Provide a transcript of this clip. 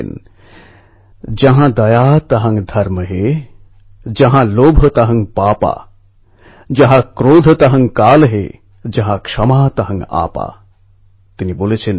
নিজেদের প্রফেশনাল স্কিলকে ব্যবহার করে যোগেশজী এবং রজনীশজী মিলে একটি স্মার্ট গাঁও অ্যাপ তৈরি করেছেন